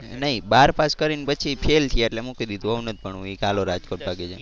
નહીં બાર પાસ કરી ને પછી fail થયા એટલે મૂકી દીધું હવે નથી ભણવું એ કે હાલો રાજકોટ ભાગી જઈએ.